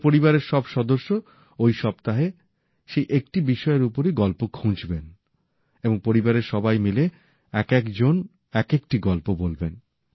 এবার পরিবারের সব সদস্য ওই সপ্তাহে সেই একটি বিষয়ের ওপরই গল্প খুঁজবেন এবং পরিবারের সবাই মিলে একেক জন একেকটি গল্প বলবেন